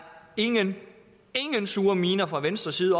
ingen ingen sure miner fra venstres side